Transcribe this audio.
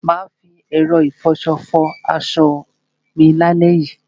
Mà á fi ẹ̀rọ ìfọṣọ fọ aṣọ mi lálẹ́ yìí.